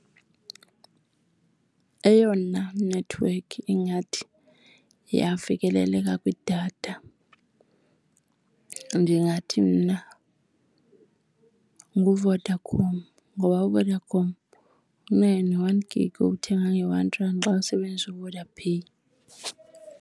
Eyona nethiwekhi ingathi iya fikeleleka kwidatha ndingathi mna nguVodacom ngoba uVodacom unayo ne-one gig yokuthenga nge-one rand xa usebenzisa uVodaPay.